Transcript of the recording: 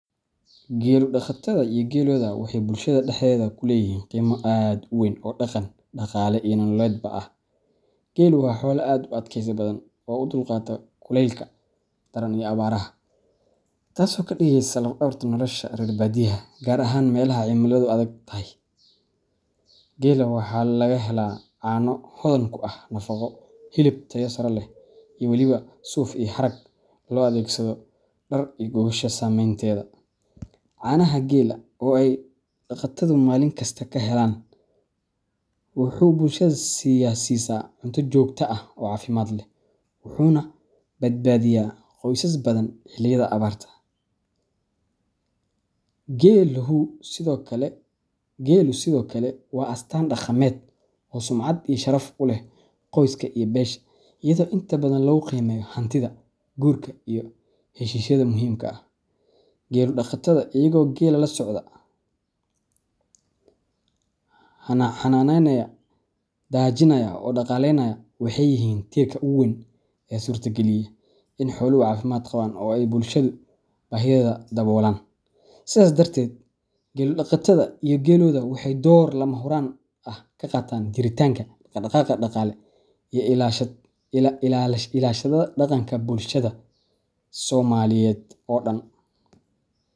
Gelu daqatada iyo geelooda waxay bulshada dhexdeeda ku leeyihiin qiimo aad u weyn oo dhaqan, dhaqaale, iyo nololeedba ah. Geelu waa xoolo aad u adkaysi badan oo u dulqaata kulaylka daran iyo abaaraha, taasoo ka dhigaysa laf dhabarta nolosha reer badiyaha, gaar ahaan meelaha cimiladu adag tahay. Geela waxaa laga helaa caano hodan ku ah nafaqo, hilib tayo sare leh, iyo waliba suuf iyo harag loo adeegsado dhar iyo gogosha samaynteeda. Caanaha geela, oo ay daqatadu maalin kasta ka helaan, wuxuu bulshada siisaa cunto joogto ah oo caafimaad leh, wuxuuna badbaadiyaa qoysas badan xilliyada abaarta. Geeluhu sidoo kale waa astaan dhaqameed oo sumcad iyo sharaf u leh qoyska iyo beesha, iyadoo inta badan lagu qiimeeyo hantida, guurka, iyo heshiisyada muhiimka ah. Gelu daqatada, iyagoo geela la socda, xanaaneynaya, daajinaya oo dhaqaaleynaya, waxay yihiin tiirka ugu weyn ee suurtageliya in xooluhu caafimaad qabaan oo ay bulshada baahiyaheeda daboolaan. Sidaas darteed, gelu daqatada iyo geelooda waxay door lama huraan ah ka qaataan jiritaanka, dhaqdhaqaaqa dhaqaale, iyo ilaashada dhaqanka bulshada somaliyed oo dhan.